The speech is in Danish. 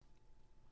DR1